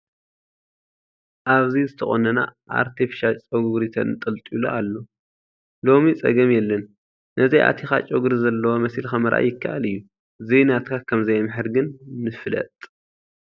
ኣብዚ ዝተቐነነ ኣርተፊሻል ጨጉሪ ተንጠልጢሉ ኣሎ፡፡ ሎሚ ፀገም የለን ነዚ ኣእቲኻ ጨጉሪ ዘለዎ መሲልካ ምርኣይ ይከኣል እዩ፡፡ ዘይናትካ ከምዘየምሕር ግን ንፍለጥ፡፡